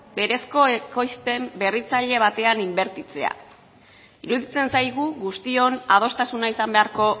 berezko ekoizpen berritzaile batean inbertitzea iruditzen zaigu guztion adostasuna izan beharko